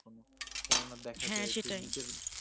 কেননা দেখো হ্যা সেটাই